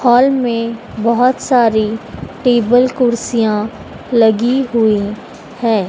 Hall में बहुत सारी टेबल कुर्सियां लगी हुई है।